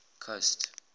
coast